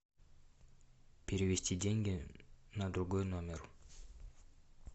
перевести деньги на другой номер